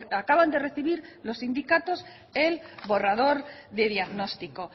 acaban de recibir los sindicatos el borrador de diagnóstico